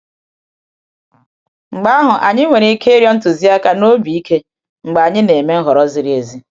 Mgbe ahụ, anyị nwere ike ịrịọ ntụziaka n’obi ike mgbe anyị na-eme nhọrọ ziri ezi.